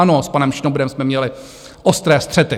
Ano, s panem Šnobrem jsme měli ostré střety.